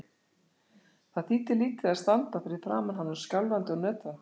Það þýddi lítið að standa fyrir framan hann og skjálfandi og nötrandi.